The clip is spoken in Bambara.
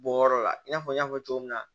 Bɔyɔrɔ la i n'a fɔ n y'a fɔ cogo min na